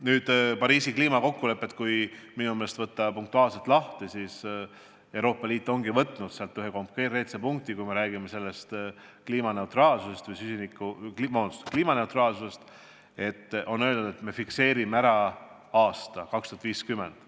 Kui Pariisi kliimakokkulepe punktide kaupa lahti võtta, siis näeme, et Euroopa Liit ongi aluseks seadnud ühe konkreetse punkti: kui me räägime kliimaneutraalsusest, siis fikseerime ära aasta 2050.